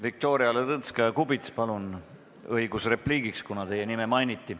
Viktoria Ladõnskaja-Kubits, teil on õigus repliigiks, kuna teie nime mainiti.